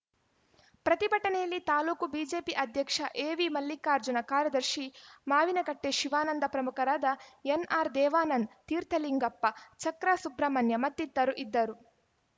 ಪ್ರತಿಭಟನೆಯಲ್ಲಿ ತಾಲೂಕು ಬಿಜೆಪಿ ಅಧ್ಯಕ್ಷ ಎವಿಮಲ್ಲಿಕಾರ್ಜುನ ಕಾರ್ಯದರ್ಶಿ ಮಾವಿನಕಟ್ಟೆ ಶಿವಾನಂದ ಪ್ರಮುಖರಾದ ಎನ್‌ಆರ್‌ ದೇವಾನಂದ್‌ ತೀರ್ಥಲಿಂಗಪ್ಪ ಚಕ್ರಾ ಸುಬ್ರಹ್ಮಣ್ಯ ಮತ್ತಿತರರು ಇದ್ದರು